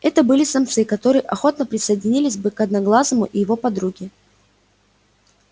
это были самцы которые охотно присоединились бы к одноглазому и его подруге